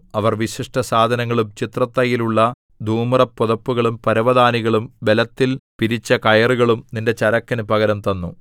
അവർ വിശിഷ്ടസാധനങ്ങളും ചിത്രത്തയ്യലുള്ള ധൂമ്രപ്പുതപ്പുകളും പരവതാനികളും ബലത്തിൽ പിരിച്ച കയറുകളും നിന്റെ ചരക്കിനു പകരം തന്നു